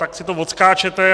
Tak si to odskáčete.